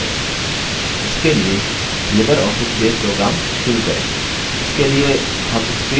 इसके लिए libreoffice base program शुरू करें